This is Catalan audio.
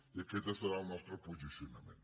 i aquest serà el nostre posicionament